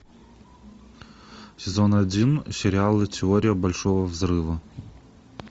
сезон один сериала теория большого взрыва